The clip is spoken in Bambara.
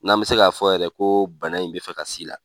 N'an bɛ se k'a fɔ yɛrɛ ko bana in bi fɛ ka s'i la.